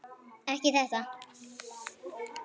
Ekki þetta!